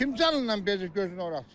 Kim canı ilə bezi gözünə ora açsın.